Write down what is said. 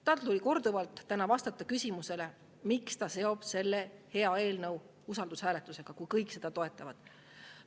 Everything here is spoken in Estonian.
Tal tuli täna korduvalt vastata küsimusele, miks ta seob selle hea eelnõu usaldushääletusega, kui kõik seda toetavad.